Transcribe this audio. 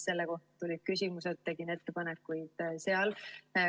Selle kohta tulid küsimused, tegin ettepanekuid seal.